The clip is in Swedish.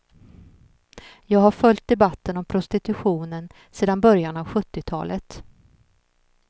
Jag har följt debatten om prostitutionen sedan början av sjuttiotalet.